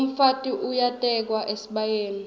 umfati uyatekwa esibayeni